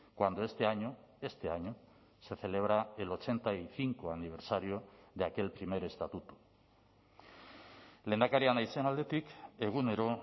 cuando este año este año se celebra el ochenta y cinco aniversario de aquel primer estatuto lehendakaria naizen aldetik egunero